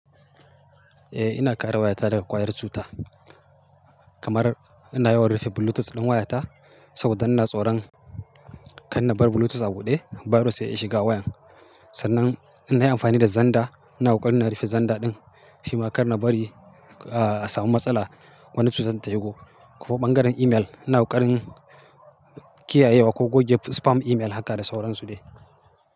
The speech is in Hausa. Eh ina kare wayata daga ƙwayar cuta, kamar ina yawan rufe Bluetooth ɗin wayata saboda ina tsoron kar na bar Bluetooth a buɗe, virus sai ya iya shiga wayan. Sannan ina amfani da xender, ina ƙoƙarin na rufe xender ɗin shima kar na bari a samu matsala wani cutar ta shigo. Ko ɓangaren email, ina ƙoƙarin kiyayewa ko goge spam email haka da sauransu dai.